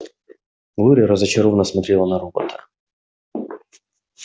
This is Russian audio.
глория разочарованно смотрела на робота